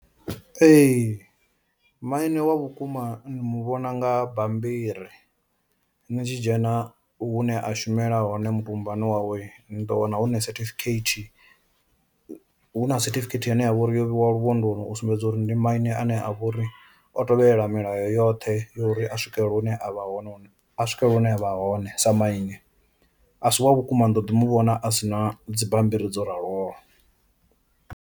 Ee maine wa vhukuma ni muvhona nga bambiri nitshi dzhena u hune a shumela hone mbumbani wawe ni ḓo wana huna certificate, hu na certificate ine yavha uri yo vheiwa lu vhondoni u sumbedza uri ndi maine ane a vha uri o tovhelela milayo yoṱhe uri a swikele hune avha hone a swikelela hune avha hone sa maine, a si wa vhukuma ni do ḓi mu vhona a sina dzibammbiri dzo raloho.